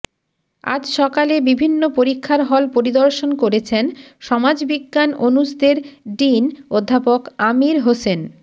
আজ সকালে বিভিন্ন পরীক্ষার হল পরিদর্শন করেছেন সমাজবিজ্ঞান অনুষদের ডিন অধ্যাপক আমির হোসেন